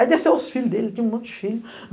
Aí desceu os filhos dele, ele tinha um monte de filhos.